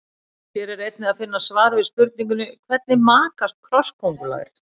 Hér er einnig að finna svar við spurningunni: Hvernig makast krossköngulær?